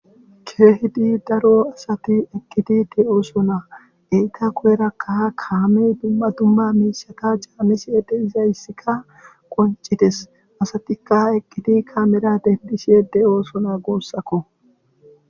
Keehid daro asati eqid de'osona .enta guyeraka kaamey dumma dumma mishi canisheka de'izayessika qoncides asatika eqidi kaamera eqid de'osona guusako